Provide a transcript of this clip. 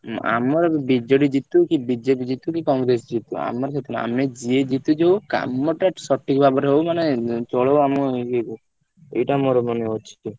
ହୁଁ ଆମର ଏଠି BJD ଜିତୁ କି BJP ଜିତୁ କି Congress ଜିତୁ ଆମର ଆମେ ଯିଏ ଜିତୁ କାମ ଟା ସଠିକ୍ ଭାବରେ ହଉ ନହେଲେ ଆମ ଇଏକୁ ଏଇଟା ମୋର ମାନେ ଅଛି।